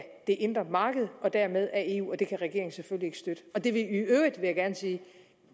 det indre marked og dermed af eu og det kan regeringen selvfølgelig støtte og det ville i øvrigt vil jeg gerne sige